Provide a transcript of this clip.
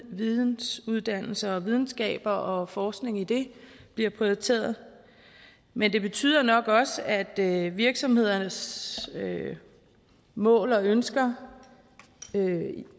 vidensuddannelser og videnskaber og forskning i det bliver prioriteret men det betyder nok også at at virksomhedernes mål og ønsker